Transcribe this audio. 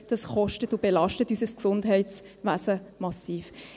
Das kostet und belastet unser Gesundheitswesen massiv.